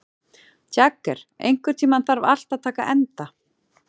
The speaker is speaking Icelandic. Jagger, einhvern tímann þarf allt að taka enda.